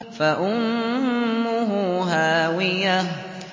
فَأُمُّهُ هَاوِيَةٌ